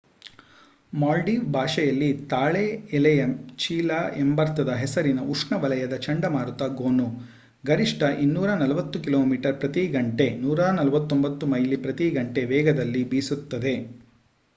Maldive ಭಾಷೆಯಲ್ಲಿ ತಾಳೆ ಎಲೆಯ ಚೀಲ ಎಂಬರ್ಥದ ಹೆಸರಿನ ಉಷ್ಣವಲಯದ ಚಂಡಮಾರುತ ಗೋನು ಗರಿಷ್ಠ 240 ಕಿಲೋಮೀಟರ್ ಪ್ರತಿ ಗಂಟೆ149 ಮೈಲಿ ಪ್ರತಿ ಗಂಟೆ ವೇಗದಲ್ಲಿ ಬೀಸುತ್ತದೆ